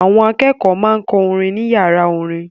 Àwọn akẹ́kọ̀ọ́ máa ń kọ́ orin ní ìyàrá orin.